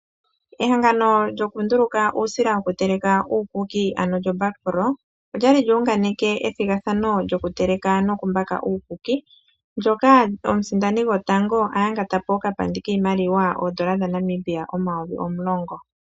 Ehangano lyokunduluka uusila wokuteleka uukuki ano lyoBakpro olya li lyuunganeke ethigathano lyokuteleka nokumbaka uukuki ndyoka omusindani gotango a yangatapo okapandi kiimaliwa oondola dhaNamibia omayovi omulongo.